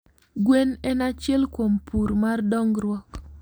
Gwen en achiel kuom pur mar dongruok